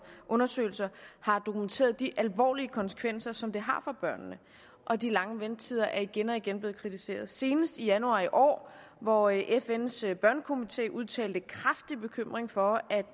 og undersøgelser har dokumenteret de alvorlige konsekvenser som det har for børnene og de lange ventetider er igen og igen blevet kritiseret senest i januar i år hvor fns børnekomité udtalte kraftig bekymring for at